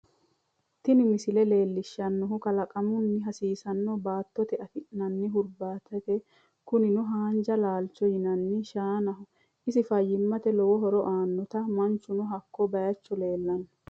Tiini miisle lelshannohu kaalkamahho hasisanno baatotee aafnani huurbatetti kuunino haanja laalcho yiinani shaanaho essini faaymatte loowo hooro aanota maanchunoo hakko baychoo lelanno